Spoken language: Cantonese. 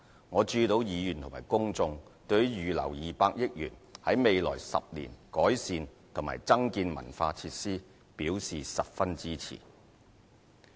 我注意到議員和公眾對於預留200億元在未來10年改善及增建文化設施表示十分支持。